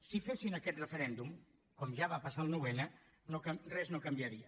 si fessin aquest referèndum com ja va passar el nou n res no canviaria